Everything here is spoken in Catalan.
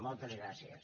moltes gràcies